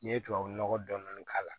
N'i ye tubabu nɔgɔ dɔɔni k'a la